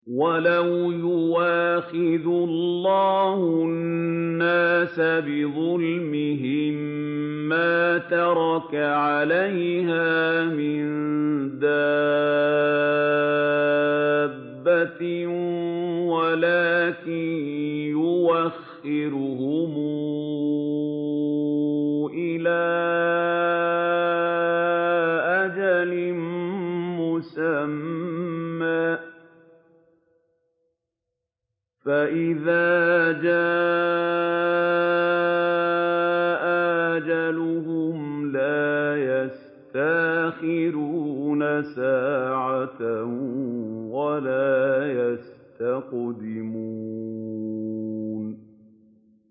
وَلَوْ يُؤَاخِذُ اللَّهُ النَّاسَ بِظُلْمِهِم مَّا تَرَكَ عَلَيْهَا مِن دَابَّةٍ وَلَٰكِن يُؤَخِّرُهُمْ إِلَىٰ أَجَلٍ مُّسَمًّى ۖ فَإِذَا جَاءَ أَجَلُهُمْ لَا يَسْتَأْخِرُونَ سَاعَةً ۖ وَلَا يَسْتَقْدِمُونَ